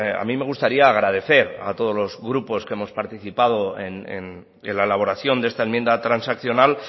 a mí me gustaría agradecer a todos los grupos que hemos participado en la elaboración de esta enmienda transaccional